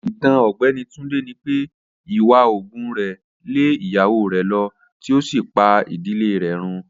Itan Ọgbẹni Tunde ni pe iwa oògùn rẹ le iyawo rẹ lọ ti o si pa idile rẹ run.